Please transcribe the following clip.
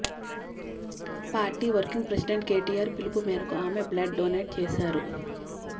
party working president KTR పిలుపు మేరకు ఆమె బ్లడ్ డొనేట్ చేశారు